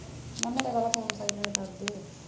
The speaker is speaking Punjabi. ਮੈਂ ਕਿਹਾ ਮੈਂ ਤਾਂ ਬੜਾ ਫੋਨ .